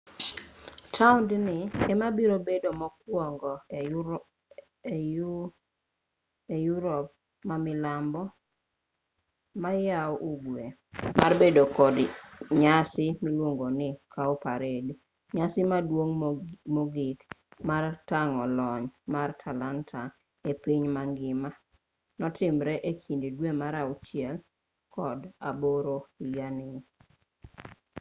taondni emabiro bedo mokwongo e yupop ma milambo-mayougwe mar bedo kod nyasi miluongo ni cowparade nyasi maduong' mogik mar tang'o lony mar talanta epiny mangima notimre ekind dwe mar auchiel kod aboro higani